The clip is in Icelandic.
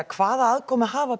hvaða aðkoma hafa